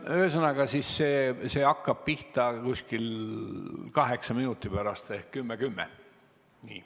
Ühesõnaga, see hakkab pihta kuskil kaheksa minuti pärast ehk 10.10.